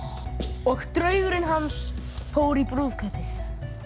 og draugurinn hans fór í brúðkaupið